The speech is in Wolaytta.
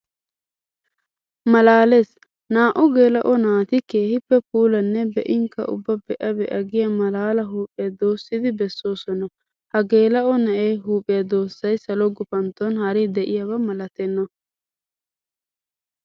Malaales! Naa'u geela'o naati keehippe puulanne be'inkka ubba be'a be'a giya malaala huuphiya doossiddi bessosonna. Ha geela'o na'ee huuphiya doosay salo gufantton hari de'iyabba malatenna.